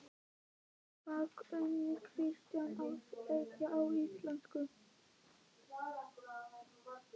Hvað kunni Kristín að segja á íslensku?